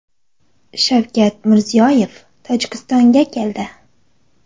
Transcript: Shavkat Mirziyoyev Tojikistonga keldi.